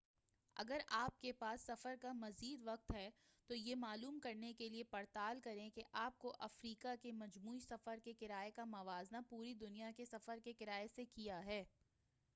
اگر آپ کے پاس سفر کا مزید وقت ہے تو یہ معلوم کر نے کے لئے پڑتال کریں کہ آپ کے افریقہ کے مجموعی سفر کے کرایہ کا موازنہ پوری دنیا کے سفر کے کرایہ سے کیا ہے